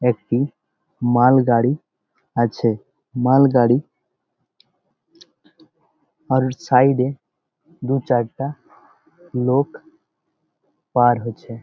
একটি মালগাড়ি আছে মালগাড়ি আউট সাইড -এ দু চারটা লোক পার হচ্ছে।